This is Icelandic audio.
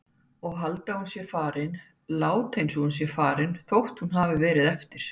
Og halda að hún sé farin, láta einsog hún sé farin þótt hún verði eftir.